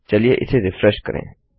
चलिए इसे रिफ्रेश करें